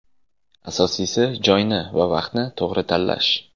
Asosiysi joyni va vaqtni to‘g‘ri tanlash.